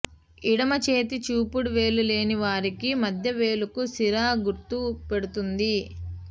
ఎడమచేతి చూపుడు వేలు లేని వారికి మధ్య వేలుకు సిరా గుర్తు పెడుతుంది